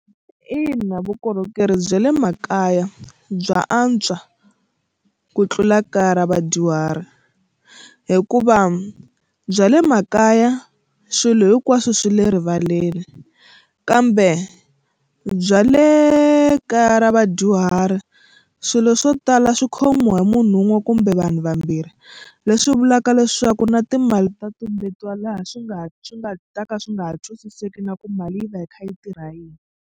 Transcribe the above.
Ina vukorhokeri bya le makaya bya antswa ku tlula kaya ra vadyuhari hikuva bya le makaya swilo hinkwaswo swi le rivaleni kambe bya le kaya ra vadyuhari swilo swo tala swi khomiwa hi munhu wun'we kumbe vanhu vambirhi leswi vulaka leswaku na timali ta tumbetiwa laha swi nga swi nga ta ka swi nga twisiseki na ku mali yi va yi kha yi tirha yini.